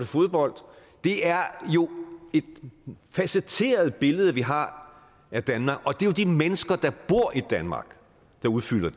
fodbold det er jo et facetteret billede vi har af danmark og det er jo de mennesker der bor i danmark der udfylder